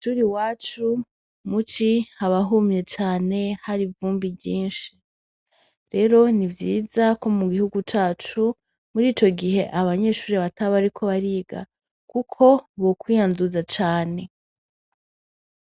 Kwishuri iwacu muci haba humye cane hari ivumbi ryinshi rero nivyiza ko mugihugu cacu murico gihe abanyeshuri bataba bariko bariga kuko bo kwita tuza cane.